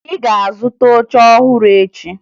Ị ga-azụta oche ọhụrụ echi!